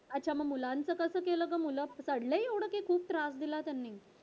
अच्छा मग मुलांचं कस केलं ग मुले चढले एवढे कि खूप त्रास दिला त्यांनी